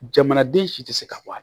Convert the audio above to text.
Jamanaden si tɛ se ka bɔ a la